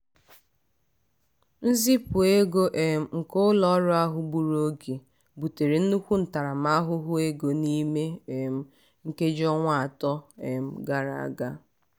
nzipụ ego um nke ụlọ ọrụ ahụ gburu oge butere nnukwu ntaramahụhụ ego n'ime um nkeji ọnwa atọ um gara aga.